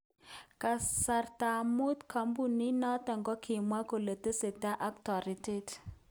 Kasta mut ,kampunit noton kakimwa kole tesetai ak toretet.